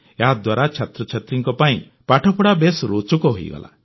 ଏହାଦ୍ୱାରା ଛାତ୍ରଛାତ୍ରୀଙ୍କ ପାଇଁ ପାଠପଢ଼ା ବେଶ୍ ରୋଚକ ହୋଇଗଲା